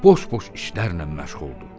Boş-boş işlərlə məşğuldur.